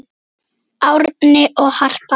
Árni og Harpa.